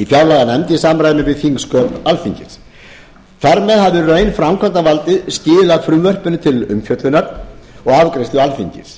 í fjárlaganefnd í samræmi við þingsköp alþingis þar með hafði í raun framkvæmdavaldið skilað frumvarpinu til umfjöllunar og afgreiðslu alþingis